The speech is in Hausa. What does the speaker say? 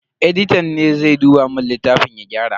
Editan ne zai duba mun littafin ya gyara.